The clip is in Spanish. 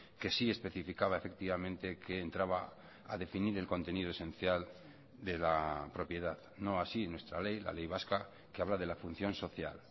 que sí especificaba efectivamente que entraba a definir el contenido esencial de la propiedad no así nuestra ley la ley vasca que habla de la función social